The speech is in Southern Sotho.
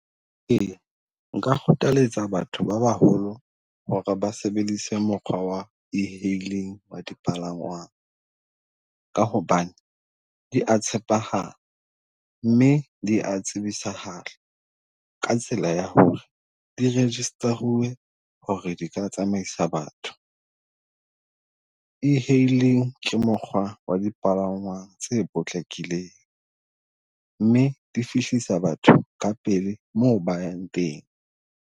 Ee, nka kgothaletsa batho ba baholo hore ba sebedise mokgwa wa e-hailing wa dipalangwang. Ka hobane dia tshepahala, mme dia tsebisahala ka tsela ya hore di register-uwe hore di ka tsamaisa batho. E-hailing ke mokgwa wa dipalangwang tse potlakileng, mme di fihlisa batho ka pele moo ba yang teng.